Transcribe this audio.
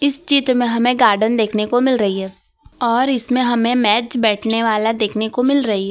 इस चित्र में हमें गार्डन देखने को मिल रही है और इसमें हमें मेज बैठने वाला देखने को मिल रही है।